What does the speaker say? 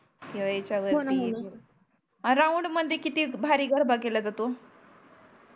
किवा ह्याच्या वरती हो णा हो णा राऊंड वरती किती भारी गरबा केला जातो